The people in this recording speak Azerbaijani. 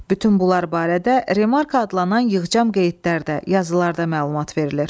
Bütün bunlar barədə remarka adlanan yığcam qeydlərdə, yazılarda məlumat verilir.